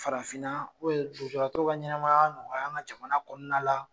Farafinna u bɛn lujuratɔw ka ɲɛnamaya nɔgɔya an ka jamana kɔnɔna la